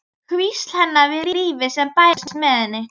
Hvísl hennar við lífið sem bærist með henni.